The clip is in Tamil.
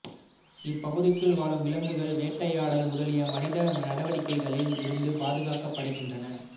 இப்பகுதிக்குள் வாழும் விலங்குகள் வேட்டை யாடல் முதலிய மனித நடவடிக்கைகளில் இருந்து பாதுகாக்கப்படுகின்றன